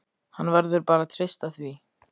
Hann verður bara að treysta því.